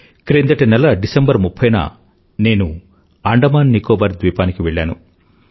క్రిందటి నెల డిసెంబర్ ముప్ఫై న నేను అండమాన్ నికోబార్ ద్వీపానికి వెళ్లాను